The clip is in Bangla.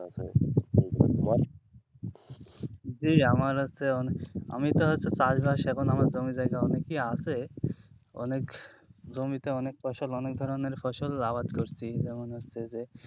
জি আমার হচ্ছে অনেক আমি তো হচ্ছে চাষবাস এখন আমার জমি জায়গা অনেকই আছে অনেক জমিতে অনেক ফসল অনেক ধরনের ফসল আবাদ করছি, যেমন হচ্ছে যে,